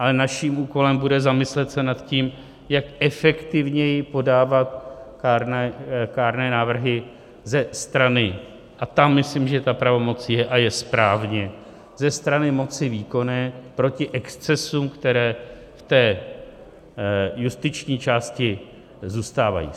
Ale naším úkolem bude zamyslet se nad tím, jak efektivněji podávat kárné návrhy ze strany, a tam myslím, že ta pravomoc je a je správně, ze strany moci výkonné proti excesům, které v té justiční části zůstávají.